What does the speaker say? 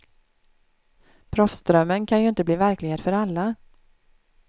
Proffsdrömmen kan ju inte bli verklighet för alla.